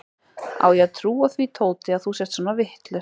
Á ég að trúa því, Tóti, að þú sért svona vitlaus?